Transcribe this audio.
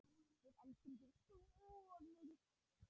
Við elskum þig svo mikið.